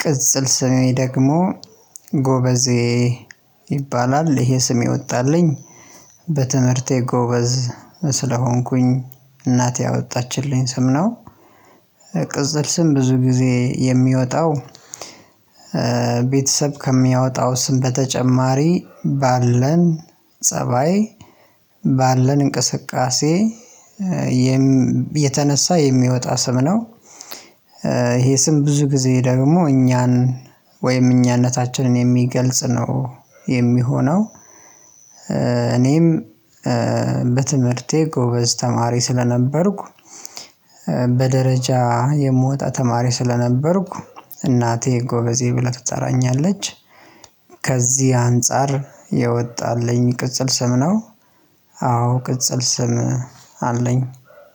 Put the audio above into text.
ቅጽል ስሜ ደግሞ ጎበዜ ይባላል። ይሄ ስሜ የወጣልኝ በትምህርቴ ጎበዝ ስለሆንኩኝ እናቴ ያወጣችልኝ ስም ነው። ቅጽል ስም ብዙ ጊዜ የሚወጣው ቤተሰብ ከሚያወጣው ስም በተጨማሪ ባለን ፀባይ ባለን እንቅስቃሴ የተነሳ የሚወጣ ስም ነው። ይሄ ስም ብዙ ጊዜ ደግሞ እኛን ወይም እኛነታችንን የሚገልጽ ነው የሚሆነው። እኔም በትምህርቴ ጎበዝ ተማሪ ስለነበርኩ በደረጃ የምወጣ ተማሪ ስለነበርኩ እናቴ ጎበዜ ብላ ትጠራኛለች ከዚህ አንፃር የወጣልኝ ቅጽል ስም ነው። አዎ ቅጽል ስም አለኝ።